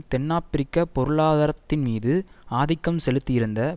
தென்னாபிரிக்கப் பொருளாதாரத்தின் மீது ஆதிக்கம் செலுத்தியிருந்த